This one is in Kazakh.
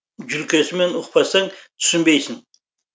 жүлкесімен ұқпасаң түсінбейсің